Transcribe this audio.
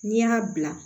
N'i y'a bila